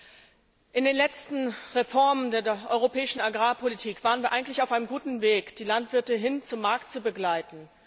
Bei den letzten Reformen der europäischen Agrarpolitik waren wir eigentlich auf einem guten Weg, die Landwirte hin zum Markt zu begleiten.